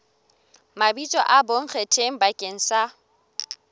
mabitso a bonkgetheng bakeng sa